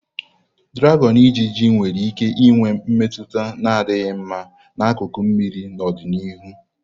Draghon-ijiji nwere ike inwe mmetụta na-adịghị mma n'akụkụ mmiri n'ọdịnihu.